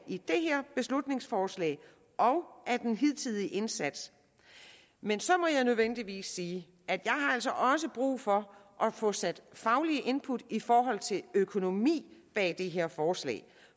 i det her beslutningsforslag og af den hidtidige indsats men så må jeg nødvendigvis sige at jeg altså også har brug for at få sat de faglige input i forhold til økonomien bag det her forslag